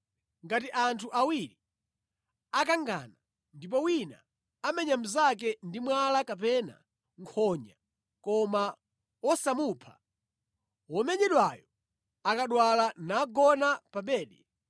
“Ngati anthu awiri akangana ndipo wina amenya mnzake ndi mwala kapena nkhonya koma wosamupha, womenyedwayo akadwala nagona pa bedi,